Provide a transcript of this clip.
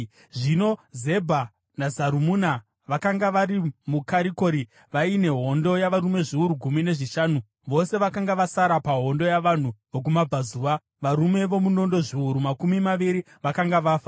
Zvino Zebha naZarumuna vakanga vari muKarikori vaine hondo yavarume zviuru gumi nezvishanu, vose vakanga vasara pahondo yavanhu vokumabvazuva; varume vomunondo zviuru makumi maviri vakanga vafa.